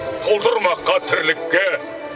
толтырмаққа тірлікке